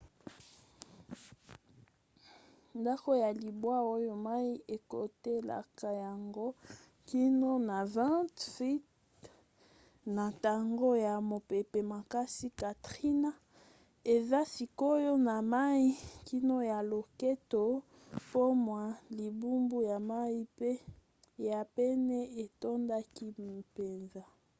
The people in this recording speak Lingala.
ndako ya libwa oyo mai ekotelaka yango kino na 20 feet na ntango ya mopepe makasi katrina eza sikoyo na mai kino na loketo po mwa libulu ya mai ya pene etondaki mpenza